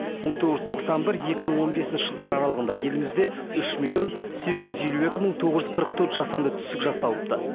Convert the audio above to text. мың тоғыз жүз тоқсан бір екі мың он бесінші жылдар аралығында елімізде үш миллион сегіз жүз елу екі мың тоғыз жүз қырық төрт жасанды түсік жасалыпты